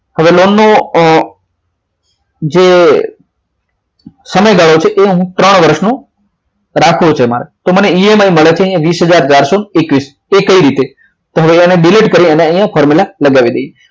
હવે લોનનો જે સમયગાળો છે એ હું ત્રણ વર્ષનો રાખ્યો છે મળે તો મને મળે છે વીસ હજાર ચારસો એકવીસ તે કઈ રીતે તેને delete કરી અહીંયા formula લગાવી દઈએ